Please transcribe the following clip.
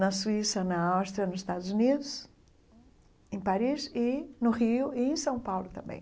Na Suíça, na Áustria, nos Estados Unidos, em Paris, e no Rio e em São Paulo também.